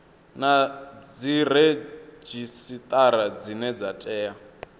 na dziredzhisitara dzine dza tea